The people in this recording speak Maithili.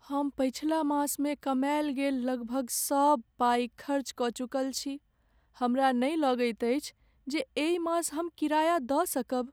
हम पछिला मासमे कमायल गेल लगभग सब पाइ खर्च कऽ चुकल छी। हमरा नहि लगैत अछि जे एहि मास हम किराया दऽ सकब।